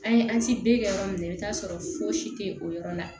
An ye an si b'e kɛ yɔrɔ min na i bɛ t'a sɔrɔ fosi tɛ o yɔrɔ la